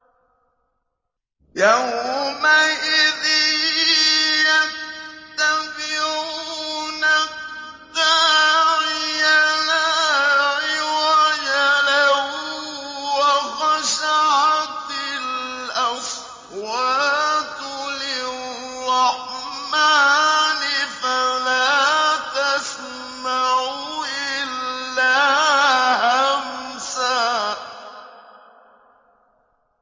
يَوْمَئِذٍ يَتَّبِعُونَ الدَّاعِيَ لَا عِوَجَ لَهُ ۖ وَخَشَعَتِ الْأَصْوَاتُ لِلرَّحْمَٰنِ فَلَا تَسْمَعُ إِلَّا هَمْسًا